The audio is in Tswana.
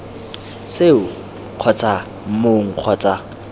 seo kgotsa ii mong kgotsa